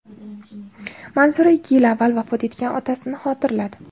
Manzura ikki yil avval vafot etgan otasini xotirladi.